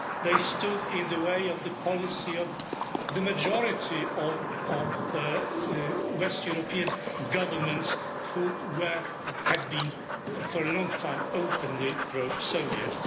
They stood in the way of the policy of the majority of West European governments which were, or had been for a long time, openly pro Soviet.